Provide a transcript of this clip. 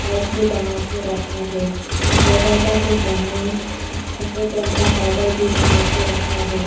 टंगा के रखा है दरवाजा के सामने सफेद रंग का बादल भी टंगा के रखा है।